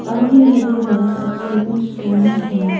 आगे हरे घास और स्टेपिंग स्टोंस है।